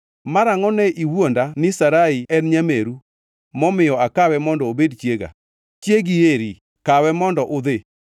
Mara angʼo ne iwuonda ni Sarai en nyameru momiyo akawe mondo obed chiega? Chiegi eri, kawe mondo udhi.”